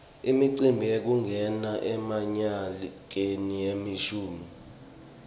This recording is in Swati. imicimbi yekungena emnyakeni lomusha